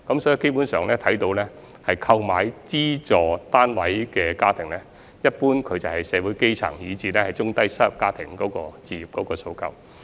所以基本上，購買資助出售單位的家庭，一般是社會基層，以至有置業訴求的中低收入家庭。